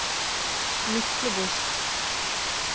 Myklebost